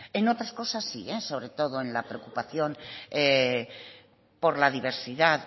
en otras cosas sí sobre todo en la preocupación por la diversidad